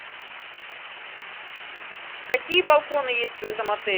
какие балконы есть в этом отеле